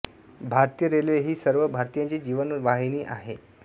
भारतीय रेल्वे ही सर्व भारतीयांची जीवन दाहिणी आहे